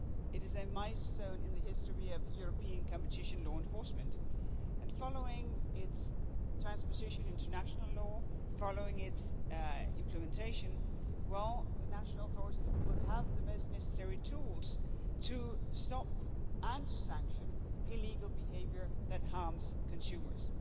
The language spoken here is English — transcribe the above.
It is a milestone in the history of European competition law enforcement and following its transposition into national law, following its implementation, the national authorities will have the most necessary tools to stop and to sanction illegal behaviour that harms consumers.